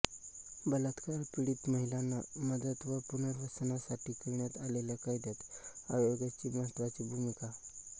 बलात्कारपीडित महिलांना मदत व पुनर्वसनासाठी करण्यात आलेल्या कायद्यात आयोगाची महत्त्वाची भूमिका